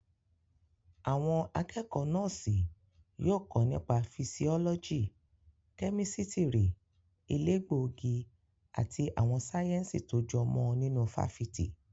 Àwọn akẹ́kọ̀ọ́ Nọ́ọ̀sì yóò kọ́ nípa fisiọ́lọ́jì, kẹ́mísítírì, elégbòogi àti àwọn sáyẹ̀nsì tó jọ mọ́ ọn nínú fáfitì.